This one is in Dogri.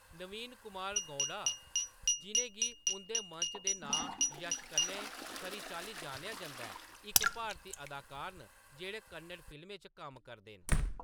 नवीन कुमार गौड़ा, जिʼनें गी उंʼदे मंच दे नांऽ यश कन्नै खरी चाल्ली जानेआ जंदा ऐ, इक भारती अदाकार न जेह्‌‌ड़े कन्नड़ फिल्में च कम्म करदे न।